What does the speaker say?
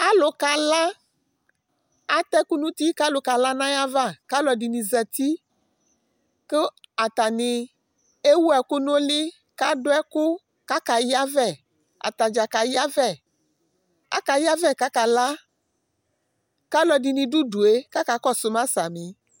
Alu k'ala, atɛ ɛku nu uti k'alu ka la n' ayava, k'aluɛdini zati, ku atani ɛwu ɛku n'uli, k'adu ɛku, k'aka yavɛ, atadza k'ayavɛ, aka yavɛ k'aka la, k'aluɛdini dù udue k'aka kɔsuma